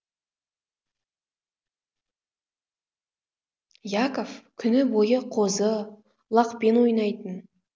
яков күні бойы қозы лақпен ойнайтын